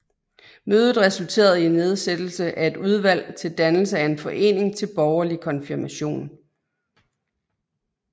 Mødet resulterede i nedsættelse af et udvalg til dannelse af en forening til borgerlig konfirmation